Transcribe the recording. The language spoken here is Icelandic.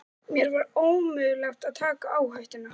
Mér var ómögulegt að taka áhættuna.